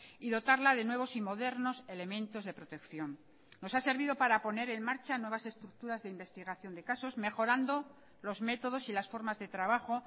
y dotarla de nuevos y modernos elementos de protección nos ha servido para poner en marcha nuevas estructuras de investigación de casos mejorando los métodos y las formas de trabajo